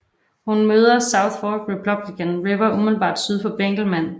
Den møder South Fork Republican River umiddelbart syd for Benkelman